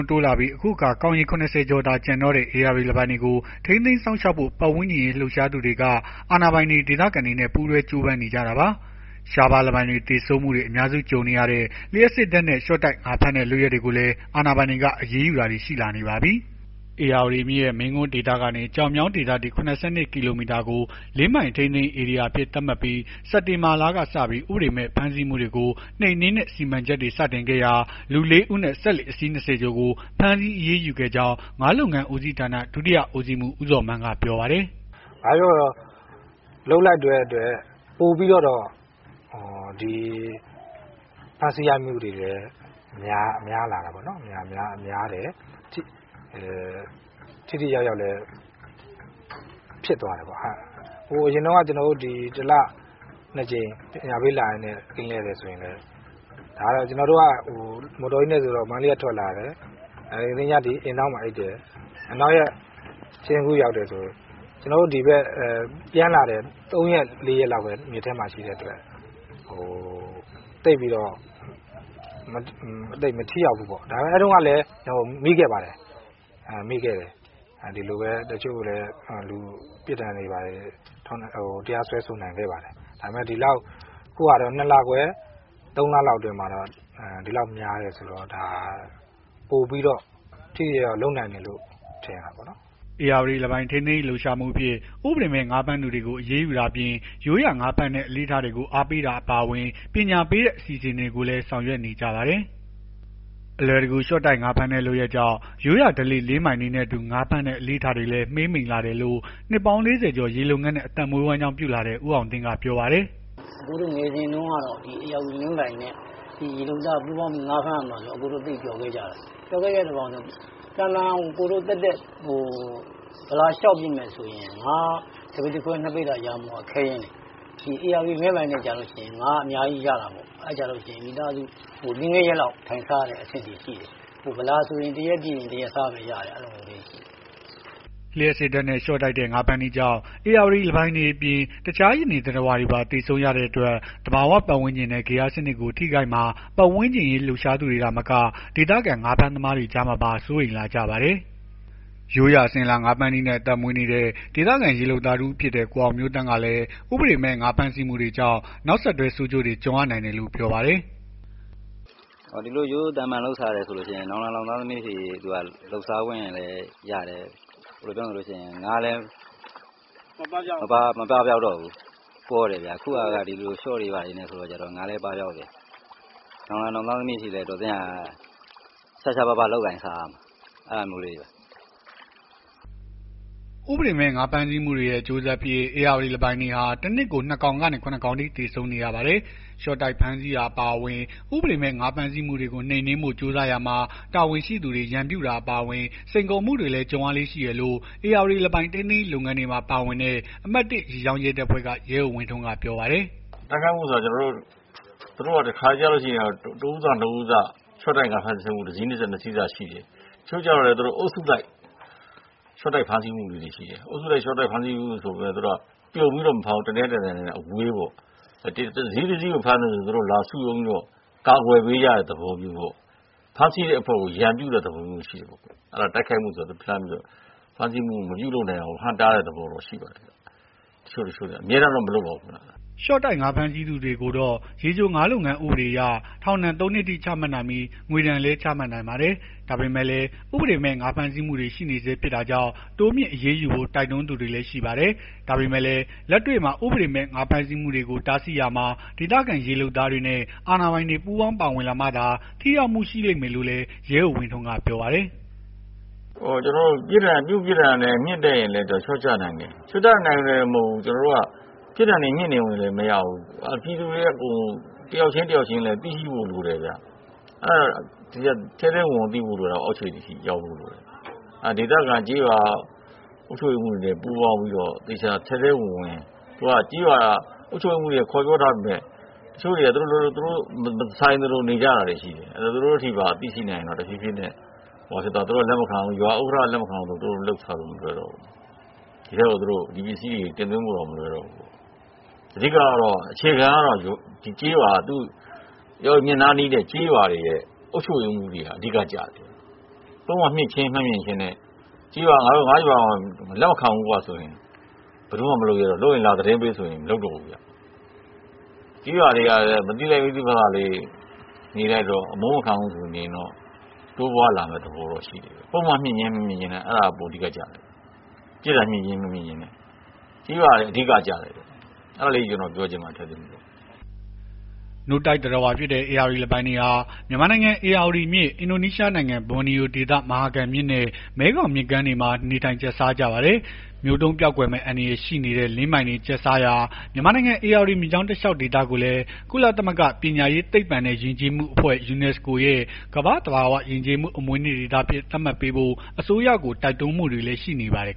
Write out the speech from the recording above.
း တိုးလာနေပြီး အခုအခါ ကောင်ရေ ၇၀ ကျော်သာ ကျန်တော့တဲ့ ဧရာဝတီလင်းပိုင်တွေကို ထိန်းသိမ်းစောင့်ရှောက်ဖို့ ပတ်ဝန်းကျင်အရေး လှုပ်ရှားသူတွေက အာဏာပိုင်တွေ၊ ဒေသခံတွေနဲ့ ပူးတွဲ ကြိုးပမ်းနေကြတာပါ။ ရှားပါးလင်းပိုင်တွေ သေဆုံးမှုတွေ အများစု ကြုံရတဲ့ လျှပ်စစ်ဓာတ်နဲ့ လျှော့တိုက် ငါးဖမ်းတဲ့ လုပ်ရပ်တွေကိုလည်း အာဏာပိုင်တွေက အရေးယူတာတွေ ရှိလာနေပါပြီ။ ဧရာဝတီမြစ်ရဲ့ မင်းကွန်းဒေသကနေ ကျောက်မြောင်းဒေသအထိ ၇၂ ကီလိုမီတာကို လင်းပိုင် ထိန်းသိမ်းရေး ဧရိယာအဖြစ်သတ်မှတ်ထားပြီး စက်တင်ဘာလကစပြီး ဥပဒေမဲ့ ဖမ်းဆီးမှုတွေကို နှိမ်နင်းတဲ့ စီမံချက်တွေ စတင်ခဲ့ရာမှာ လူ ၄ ဦးနဲ့ စက်လှေ အစီး ၂၀ ကျော်ကို ဖမ်းဆီး အရေးယူခဲ့ကြောင်း ငါးလုပ်ငန်းဦးစီးဌာန ဒုတိယဦစီးမှူး ဦးဇော်မန်းက ပြောပါတယ်။ “ဘာပဲပြောပြော လုပ်လိုက်တဲ့အတွက် ပိုပြီးတော့ ဖမ်းဆီးရမိမှုတွေလည်း များလာတယ်။ ထိထိရောက်ရောက် လည်းဖြစ်သွားတယ်ပေါ့။ ကျွန်တော်တို့အရင်က တလ ၂ ကြိမ် ပညာပေးလာရင်းနဲ့ ကင်းလှည့်တယ်ဆိုရင် လည်း ကျွန်တော်တို့က မော်တော်ကြီးနဲ့ဆိုတော့ မန္တလေးက ထွက်လာတယ်။ အင်ဒေါင်းမှာအိပ်တယ်။ နောက်ရက် စဉ့်ကူးရောက်တယ်ဆိုရင် ပြန်လာတယ် ၃ ရက် ၄ ရက်လောက်ပဲ မြစ်ထဲမှာ ရှိတဲ့အတွက် သိပ်ပြီး မထိရောက်ဘူးပေါ့။ ဒါပေမယ့် အဲ့တုန်းကလည်း မိခဲ့ပါတယ်။ အဲ့တုန်းကလည်း ပြစ်ဒဏ်တွေဘာတွေ တရားစွဲဆို နိုင်ခဲ့ပါတယ်။ အခု ၂ လခွဲ ၃ လလောက် အတွင်းမှာ ဒီလောက်များတယ်ဆိုတော့ ပိုပြီးထိထိ ရောက်ရောက် လုပ်နိုင်တယ်လို့ထင်တာပေါ့နော်။” ဧရာဝတီလင်းပိုင် ထိန်းသိမ်းရေး လှုပ်ရှားမှုအဖြစ် ဥပဒေမဲ့ ငါးဖမ်းသူတွေကို အရေးယူတာအပြင် ရိုးရာငါးဖမ်းတဲ့ အလေ့အထတွေကို အားပေးတာ အပါအဝင် ပညာပေးတဲ့ အစီအစဉ်တွေကိုလည်း ဆောင်ရွက်နေကြပါတယ်။ အလွယ်တကူ လျှော့တိုက် ငါးဖမ်းတဲ့ လုပ်ရပ်ကြောင့် ရိုးရာဓလေ့ လင်းပိုင်တွေနဲ့အတူ ငါးဖမ်းတဲ့ အလေ့အထတွေလည်း မှေးမှိန်လာတယ်လို့ နှစ်ပေါင်း ၄၀ ကျော် ရေလုပ်ငန်းနဲ့ အသက်မွေး ဝမ်းကြောင်းပြုလာတဲ့ ဦးအောင်သင်းက ပြောပါတယ်။ “အကိုတို့ငယ်စဉ်က ဧရာဝတီလင်းပိုင်နဲ့ ရေလုပ်သား ငါးဖမ်းရမှာဆိုရင် အရမ်းပျော်ခဲ့ကြတာ။ ပျော်ခဲ့ကြတာ ဘာလည်းဆိုတော့ အကိုတို့ သာမန် သက်သက် ဗလာလျှောက်ပစ်မယ်ဆိုရင် ငါး ၁ ပိသာခွဲ ၂ ပိသာ ရဖို့က ခဲယဉ်းတယ်။ ဧရာဝတီလင်းပိုင်နဲ့ကျလို့ရှိရင် ငါးအများကြီးရတာပေါ့။ အဲ့ကျလို့ရှိရင် မိသားစု ၄ ၅ ရက်လောက် ထိုင်စားရတဲ့ အဆင့်ထိရှိတယ်။ ဗလာဆိုရင် တရက်ပစ်တရက်စားပဲရတယ်။” လျှပ်စစ်ဓာတ်နဲ့ ရှော့တိုက်ငါးဖမ်းတဲ့နည်းကြောင့် ဧရာဝတီလင်းပိုင်တွေအပြင် တခြားရေနေ သတ္တဝါတွေပါ သေဆုံးရတဲ့အတွက် သဘာ၀ ပတ်ဝန်းကျင်နဲ့ ဂေဟစနစ်ကို ထိခိုက်မှာ ပတ်ဝန်းကျင်အရေး လှုပ်ရှားသူတွေ သာမက ဒေသခံ ငါးဖမ်းသမားတွေကြားမှာပါ စိုးရိမ်လာကြပါတယ်။ ရိုးရာအစဉ်အလာ ငါးဖမ်းနည်းနဲ့ အသက်မွေးနေတဲ့ ဒေသခံရေလုပ်သားတဦးဖြစ်တဲ့ ကိုအောင်မျိုးသန့်ကလည်း ဥပဒေမဲ့ ငါးဖမ်းဆီးမှုတွေကြောင့် နောက်ဆက်တွဲ ဆိုးကျိုးတွေ ကြုံရနိုင်တယ်လို့ ပြောပါတယ်။ “ဒီလိုရိုးရိုးသာမာန်လုပ်စားတယ်ဆိုရင် နောင်လာနောင်သားသမီးထိ လုပ်စားလို့ရတယ်။ ငါးလည်း မပပျောက်တော့ဘူး။ ပေါတယ်ဗျာ။ အခုဟာက ရှော့တွေဘာတွေနဲ့ဆိုတော့ ငါးလည်းပပျောက်တယ် နောင်လာ နောင်သားသမီးအထိ တော်သင့်ရာ ရှားရှားပါးပါး လုပ်ကိုင်စားရတယ်။ အဲ့ဒါမျိုးလေးတွေပါ။” ဥပဒေမဲ့ ငါးဖမ်းဆီးမှုတွေရဲ့ အကျိုးဆက်အဖြစ် ဧရာဝတီလင်းပိုင်တွေဟာ တနှစ်ကို ၂ ကောင်ကနေ ၇ ကောင်အထိ သေဆုံး နေရပါတယ်။ လျှော့တိုက်ဖမ်းဆီးတာ အပါအဝင် ဥပဒေမဲ့ ငါးဖမ်းဆီးမှုတွေကို နှိမ်နင်းဖို့ ကြိုးစားရာမှာ တာဝန်ရှိသူတွေ ရန်ပြုတာ အပါအဝင် စိန်ခေါ်မှုတွေလည်း ကြုံရလေ့ ရှိတယ်လို့ ဧရာဝတီလင်းပိုင် ထိန်းသိမ်းရေး လုပ်ငန်းတွေမှာ ပါဝင်တဲ့ အမှတ် ၁ ရေကြောင်းရဲတပ်ဖွဲ့က ရဲအုပ်ဝင်းထွန်းက ပြောပါတယ်။ “တိုက်ခိုက်မှုဆိုတာ သူတို့က တခါတလေကျလို့ရှိရင် တဦးစနှစ်ဦးစ တစီးစ နှစ်စီးစ ရှော့တိုက်ငါးဖမ်းတာ ရှိတယ်။ တချို့က အုပ်စုလိုက်ရှော့တိုက်ဖမ်းဆီးမှုလေးတွေရှိတယ်။ အုပ်စုလိုက်ဖမ်းဆီးမှုဆိုပေမယ့် ပြုံပြီးတော့ တနေရာနဲ့တနေရာအဝေးပေါ့။ တစီးတစီးကိုဖမ်းတယ်ဆိုရင် သူတို့လာစုရုံးပြီးတော့ ကာကွယ်ပေးကြတဲ့ သဘောမျိုးပေါ့။ ဖမ်းဆီးတဲ့အဖွဲ့ကို ရန်ပြုတဲ့သဘောမျိုးရှိတယ်ပေါ့။ တိုက်ခိုက်မှုဆိုတာ ဖမ်းဆီးမှုမပြုလုပ်နိုင အောင်လို့ ဟန့်တားတဲ့ သဘောတော့ရှိပါတယ်။ တချို့တချို့တွေက အမြဲတမ်းတော့ မလုပ်ပါဘူးခင်ဗျ။” ရှော့တိုက် ငါးဖမ်းဆီးသူကိုတော့ ရေချိုငါးလုပ်ငန်း ဥပဒေအရ ထောင်ဒဏ် ၃ နှစ်အထိ ချမှတ်နိုင်ပြီး ငွေဒဏ်လည်း ချမှတ်နိုင်ပါတယ်။ ဒါပေမဲ့လည်း ဥပဒေမဲ့ ငါးဖမ်းဆီးမှုတွေ ရှိနေဆဲ ဖြစ်တာကြောင့် တိုးမြှင့်အရေးယူဖို့ တိုက်တွန်းသူတွေလည်း ရှိပါတယ်။ ဒါပေမဲ့လည်း လက်တွေ့မှာ ဥပဒေမဲ့ ငါးဖမ်းဆီးမှုတွေကို တားဆီးရာမှာ ဒေသခံရေးလုပ်သားတွေနဲ့ အာဏာပိုင်တွေ ပူးပေါင်းပါဝင်လာမှသာ ထိရောက်မှု ရှိလိမ့်မယ်လို့လည်း ရဲအုပ်ဝင်းထွန်းက ပြောပါတယ်။ “ပြစ်မှုပြစ်ဒဏ်မြင့်တက်ရင်လည်း လျော့ကျနိုင်တယ်။ လျော့ကျနိုင်ယုံနဲ့တင်မဟုတ်ဘူး။ ကျွန်တော်တို့က ပြစ်ဒဏ်တွေမြင့်နေယုံနဲ့တင်မရဘူး။ ပြည်သူတွေကအကုန် တယောက်ချင်းတယောက်ချင်းလည်း သိရှိဖို့ လိုတယ်ဗျ။ ထဲထဲဝင်ဝင်သိဖို့လိုတယ်။ အောက်ခြေအထိ ရောက်ဖို့လိုတယ်။ ဒေသခံကျေးရွာအုပ်ချုပ်ရေးမှူး တွေပူးပေါင်းပြီးတော့ သေချာထဲထဲဝင်ဝင် အခုဟာ ကျေးရွာအုပ်ချုပ်ရေးမှူးတွေက ခေါ်ပြောထားပေမယ့် တချို့တွေက သူတို့မဆိုင်သလို နေကြတာရှိတယ်။ အဲ့တော့ သူတို့အထိပါသိရှိနိုင်ရင်တော့ တဖြေးဖြေးနဲ့ ရွာဥက္ကဌက လက်မခံဘူးဆိုရင် သူတို့လုပ်စားလို့မလွယ်တော့ဘူး။ ဒီထဲကို ဒီပစ္စည်းတွေ တင်သွင်းဖို့တောင် မလွယ်တော့ဘူး။ အဓိက အခြေခံကတော့ ဧရာဝတီမြစ်နားနီးတဲ့ကျေးရွာတွေရဲ့ အုပ်ချုပ်ရေးမှူးတွေက အဓိက ကျတယ်။ ပုဒ်မမြှင့်ချင်းမမြှင့်ချင်းထက် ငါရွာမှာ လက်မခံဘူးကွဆိုရင် ဘယ်သူမှမလုပ်ရဲတော့ဘူး။ လုပ်ရင် လာသတင်းပေးဆိုရင် မလုပ်တော့ဘူး။ ကျေးရွာတွေက မသိလိုက် မသိဖာသာလေးနေလိုက်တော့ အမုန်းမခံဘူးဆိုပြီးနေရင်တော့ တိုးပွားလာမယ့်သဘောတော့ရှိတယ်။ ပုဒ်မမြှင့်ချင်း မမြှင့်ချင်းထက် အဲ့ဒါက ပိုအဓိကကျတယ်။” နို့တိုက်သတ္တဝါ ဧရာဝတီလင်းပိုင်တွေဟာ မြန်မာနိုင်ငံ ဧရာဝတီမြစ်၊ အင်ဒိုနီးရှားနိုင်ငံ ဘော်နီယိုဒေသ မဟာကမ်မြစ်နဲ့ မဲခေါင်မြစ်တွေမှာ နေထိုင်ကျတ်စားကြပါတယ်။ မျိုးတုန်းပျောက်ကွယ်မယ့် အန္တရာယ်ရှိတဲ့ လင်းပိုင်တွေကျတ်စားရာ မြန်မာနိုင်ငံ ဧရာဝတီမြစ်ကြောင်း တလျှောက်ဒေသကိုလည်း ကုလသမဂ္ဂ ပညာရေး၊ သိပ္ပံနဲ့ ယဉ်ကျေးမှုအဖွဲ့ ရဲ့ ကမ္ဘာ့သဘာဝယဉ်ကျေးမှု အမွေအနှစ် ဒေသအဖြစ် သတ်မှတ်ပေးဖို့ အစိုးရကို တိုက်တွန်းမှုတွေလည်း ရှိနေပါတယ်